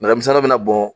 Nɛgɛmisɛnnin bɔn